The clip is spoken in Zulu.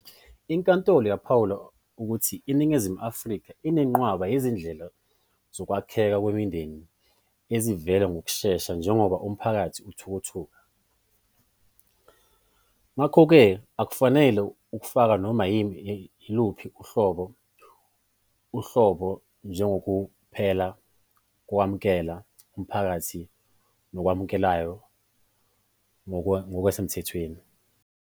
Inkantolo yaphawula ukuthi iNingizimu Afrika inenqwaba yezindlela zokwakheka kwemindeni ezivela ngokushesha njengoba umphakathi uthuthuka, ngakho-ke akufanelekile ukufaka noma yiluphi uhlobo uhlobo njengokuphela kokumukeleka emphakathini nokwamukelekayo ngokusemthethweni.